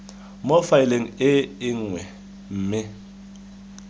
mo faeleng e nngwe mme